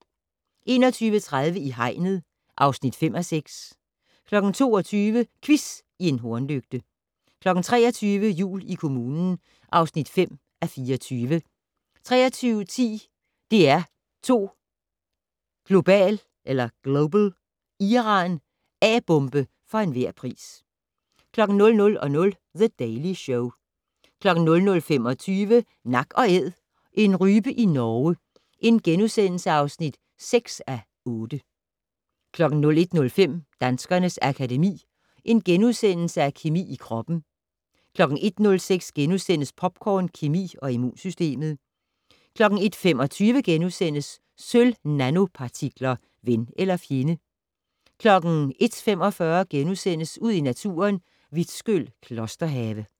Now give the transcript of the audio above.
21:30: I hegnet (5:6) 22:00: Quiz i en hornlygte 23:00: Jul i kommunen (5:24) 23:10: DR2 Global: Iran - A-bombe for enhver pris 00:00: The Daily Show 00:25: Nak & Æd - en rype i Norge (6:8)* 01:05: Danskernes Akademi: Kemi i kroppen * 01:06: Popcorn, kemi og immunsystemet * 01:25: Sølv-nanopartikler: Ven eller fjende? * 01:45: Ud i Naturen - Vitskøl Klosterhave *